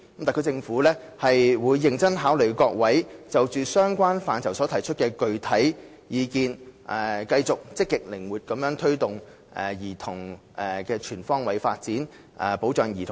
特區政府會認真考慮各位議員就相關範疇所提出的具體意見，並繼續積極靈活地推動兒童的全方位發展，保障兒童的福祉。